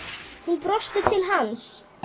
Hún brosti til hans.